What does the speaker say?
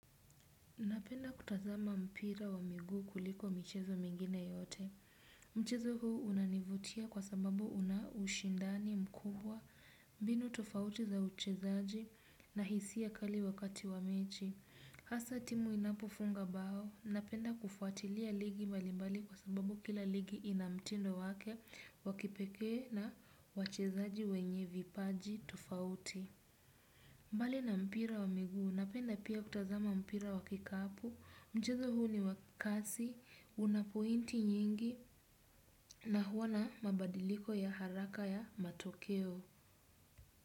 Ninapenda kutazama mpira wa miguu kuliko michezo mingine yote. Mchezo huu unanivutia kwa sababu una ushindani mkubwa mbinu tofauti za uchezaji na hisia kali wakati wa mechi. Hasa timu inapofunga bao. Ninapenda kufuatilia ligi mbalimbali kwa sababu kila ligi ina mtindo wake wa kipekee na wachezaji wenye vipaji tofauti. Mbali na mpira wa miguu, ninapenda pia kutazama mpira wa kikapu, mchezo huu ni wa kasi, una pointi nyingi, na huwa na mabadiliko ya haraka ya matokeo.